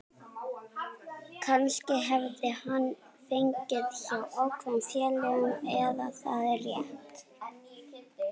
Kannski hefði hann farið hjá ákveðnum félögum en er það rétt?